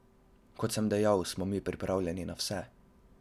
Kot sem dejal, mi smo pripravljeni na vse.